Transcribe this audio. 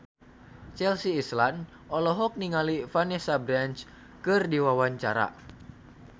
Chelsea Islan olohok ningali Vanessa Branch keur diwawancara